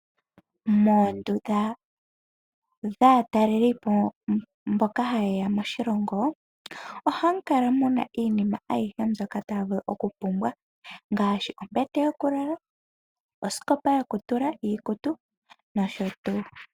Moondunda dhaataleli po mboka hayeya moshilongo ohamu kala muna iinima ayihe mbyoka taya vulu okupumbwa ngaashi ombete yokulala osikopa yokutula iikutu nosho tuu.